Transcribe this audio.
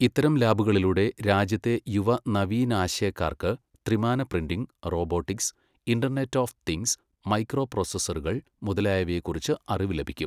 ഇത്തരം ലാബുകളിലൂടെ രാജ്യത്തെ യുവ നവീനാശയക്കാർക്ക് ത്രിമാന printing, robotics, internet of things, micro പ്രോസസ്സറുകൾ മുതലായവയെക്കുറിച്ച് അറിവ് ലഭിക്കും.